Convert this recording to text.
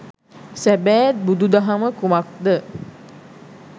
සැබෑ බුදු දහම කුමක්ද